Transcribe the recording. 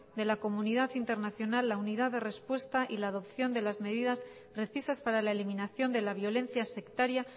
de la comunidad internacional la unidad de respuesta y la adopción de las medidas precisas para la eliminación de la violencia sectaria